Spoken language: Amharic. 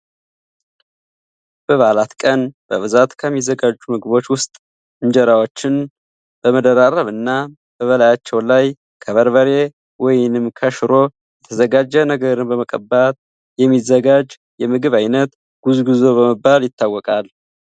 በበዓላት ቀን በብዛት ከሚዘጋጁ ምግቦች ውስጥ እንጀራዎችን በመደራረብ እና በላያቸው ላይ ከበርበሬ ወይንም ከሽሮ የተዘጋጀ ነገርን በመቀባት የሚዘጋጅ የምግብ አይነት ጉዝጉዞ በመባል ይታወቃል።